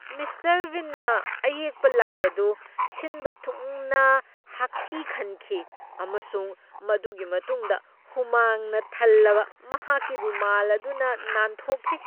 Mister ꯕꯤꯟꯅ ꯑꯌꯦꯛꯄ ꯂꯥꯏ ꯑꯗꯨ ꯁꯤꯟꯕ ꯊꯨꯡꯅ ꯍꯥꯛꯊꯤ ꯈꯟꯈꯤ ꯑꯃꯁꯨꯡ ꯃꯗꯨꯒꯤ ꯃꯇꯨꯡꯗ ꯍꯨꯃꯥꯡꯅ ꯊꯜꯂꯕ ꯃꯍꯥꯛꯀꯤ ꯔꯨꯃꯥꯜ ꯑꯗꯨꯅ ꯅꯥꯟꯊꯣꯛꯈꯤ꯫